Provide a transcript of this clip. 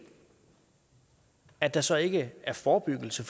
at der så ikke er forebyggelse